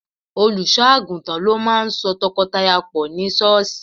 Olùṣọ́ àgùntàn ló máà ń so tọkọtaya pọ̀ ní sọ́ọ̀ṣì